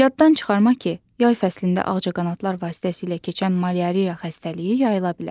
Yaddan çıxarma ki, yay fəslində ağcaqanadlar vasitəsilə keçən malyariya xəstəliyi yayıla bilər.